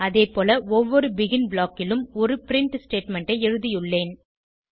அதேபோல ஒவ்வொரு begin block லும் ஒரு பிரின்ட் ஸ்டேட்மெண்ட் ஐ எழுதியுள்ளேன்